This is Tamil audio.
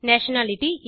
நேஷனாலிட்டி